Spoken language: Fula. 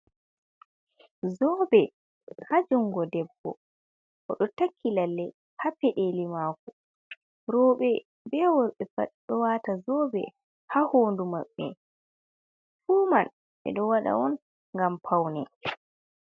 Zobe ha jungo debbo oɗo takki lalle ha peɗeli mako roɓɓe be worɓɓe fu ɗo wata zobe ha hoɗu maɓɓe fu man ɓe ɗo waɗa on ngam paune.